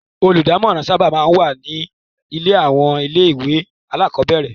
Olùdámọ̀ràn sábà máa ń wà ní àwọn ilé-ìwé alákọ̀ọ́bẹ̀rẹ̀.